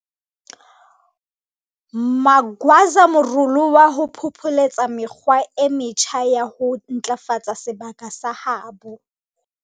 Magwaza morolo wa ho phopholetsa mekgwa e metjha ya ho ntlafatsa sebaka sa habo.